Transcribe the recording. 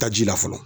Taji la fɔlɔ